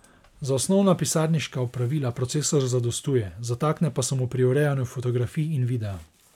Za osnovna pisarniška opravila procesor zadostuje, zatakne pa se mu pri urejanju fotografij in videa.